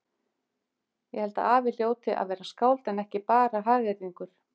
Ég held að afi hljóti að vera skáld en ekki bara hagyrðingur.